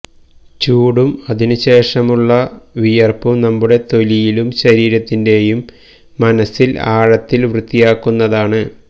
ചൂടും അതിനുശേഷമുള്ള വിയർപ്പും നമ്മുടെ തൊലിയിലും ശരീരത്തിൻറെയും മനസ്സിൽ ആഴത്തിൽ വൃത്തിയാക്കുന്നതാണ്